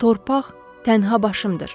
Torpaq tənha başımdır.